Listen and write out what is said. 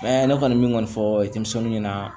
ne kɔni min kɔni fɔ denmisɛnw ɲɛna